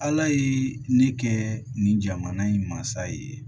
Ala ye ne kɛ nin jamana in mansa ye